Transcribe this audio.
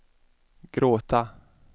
gråta